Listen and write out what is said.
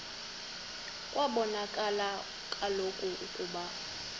kwabonakala kaloku ukuba